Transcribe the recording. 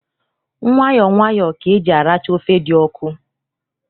Nwayọ nwayọ ka eji aracha ofe dị ọkụ.